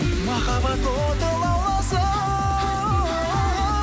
махаббат оты лауласын